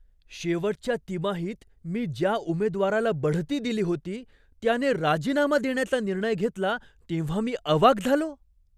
शेवटच्या तिमाहीत मी ज्या उमेदवाराला बढती दिली होती, त्याने राजीनामा देण्याचा निर्णय घेतला तेव्हा मी अवाक झालो.